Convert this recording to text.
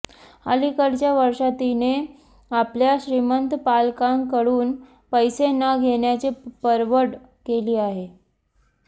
अलिकडच्या वर्षांत तिने आपल्या श्रीमंत पालकांकडून पैसे न घेण्याची परवड केली आहे